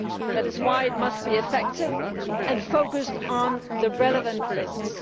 That is why it must be effective and focused on the relevant risks.